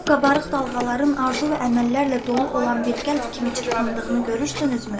O qabarıq dalğaların arzu və əməllərlə dolu olan bir qəlb kimi çırpındığını görürsünüzmü?